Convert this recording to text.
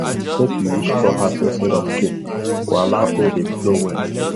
make you use straw hat instead of cape go allow air dey flow well